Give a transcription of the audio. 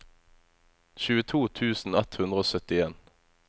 tjueto tusen ett hundre og syttien